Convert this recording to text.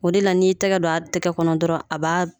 O de la n'i y'i tɛgɛ dɔ a tɛgɛ kɔnɔ dɔrɔn a b'a